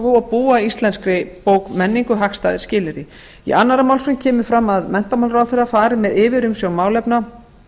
og búa íslenskri menningu hagstæðari skilyrði í annarri málsgrein kemur fram að menntamálaráðherra fari með yfirumsjón málefna